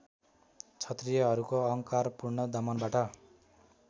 क्षत्रियहरूको अहङ्कारपूर्ण दमनबाट